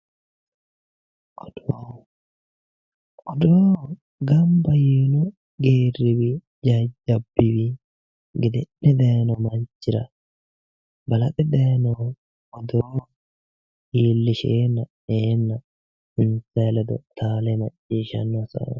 Odoo:-odoo ganba yiinno geeriwiinni jajjabu manniwiinni gede'ne dayiinno manchira balaxe dayiinnohu odoo iillisheenna insa ledo taale maciishshanno hasaawaatti